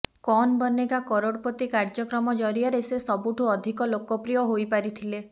କୌନ୍ ବନେଗା କରୋଡ଼ପତି କାର୍ଯ୍ୟକ୍ରମ ଜରିଆରେ ସେ ସବୁଠୁ ଅଧିକ ଲୋକପ୍ରିୟ ହୋଇପାରିଥିଲେ